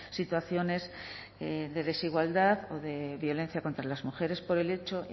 situaciones de desigualdad o de violencia contra las mujeres por el hecho